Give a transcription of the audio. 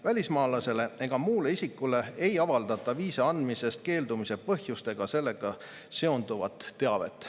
Välismaalasele ega muule isikule ei avaldata viisa andmisest keeldumise põhjust ega sellega seonduvat teavet.